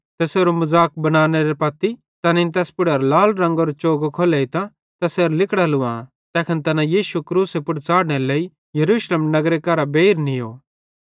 तैसेरो मज़ाक बनानेरे पत्ती तैनेईं तैस पुड़ेरां लाल रंगेरो चोगो खोलतां तैसेरां लिगड़ां लुवां तैखन तैना यीशु क्रूसे पुड़ च़ाढ़नेरे लेइ यरूशलेमेरे नगरे केरां बेइर नीयो